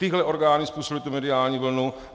Tyhle orgány způsobily tu mediální vlnu.